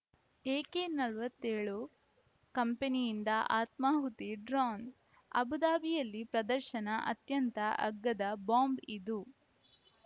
A K ನಲವತ್ತೆಳು ಕಂಪನಿಯಿಂದ ಆತ್ಮಾಹುತಿ ಡ್ರೋನ್‌ ಅಬುಧಾಬಿಯಲ್ಲಿ ಪ್ರದರ್ಶನ ಅತ್ಯಂತ ಅಗ್ಗದ ಬಾಂಬ್‌ ಇದು